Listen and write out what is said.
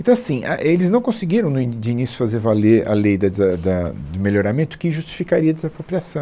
Então, assim, a, eles não conseguiram, no ini, de início, fazer valer a lei da desa da do melhoramento que justificaria a desapropriação.